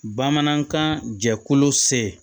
Bamanankan jɛkulu se